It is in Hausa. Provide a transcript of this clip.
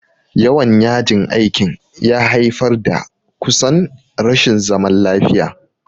Yawan yajin aikin ya haifar da kusan rashin zaman lafiya.